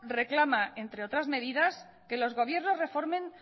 reclama entre otras medidas que los gobiernos reformen